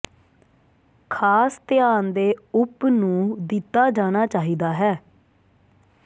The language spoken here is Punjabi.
ਖਾਸ ਧਿਆਨ ਦੇ ਉਪ ਨੂੰ ਦਿੱਤਾ ਜਾਣਾ ਚਾਹੀਦਾ ਹੈ